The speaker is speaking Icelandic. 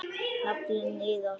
Naflinn iðar.